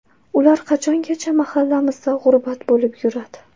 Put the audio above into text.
Ular qachongacha mahallamizda g‘urbat bo‘lib yuradi?